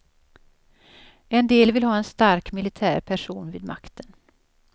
En del vill ha en stark militär person vid makten.